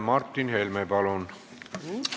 Martin Helme, palun!